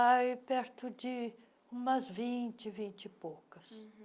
Ah, é perto de umas vinte, vinte e poucas.